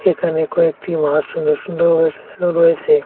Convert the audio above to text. এখানে কয়েকটি মাছ সুন্দর সুন্দর ভাবে সাজানো রয়েসে।